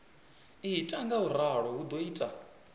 ita ngauralo hu do ita